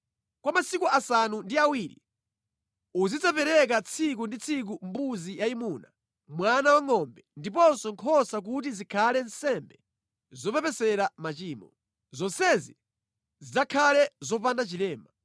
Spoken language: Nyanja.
“Kwa masiku asanu ndi awiri, uzidzapereka tsiku ndi tsiku mbuzi yayimuna, mwana wangʼombe, ndiponso nkhosa kuti zikhale nsembe zopepesera machimo. Zonsezi zidzakhale zopanda chilema.